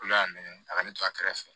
Olu y'a nɛgɛn a ka ne to a kɛrɛfɛ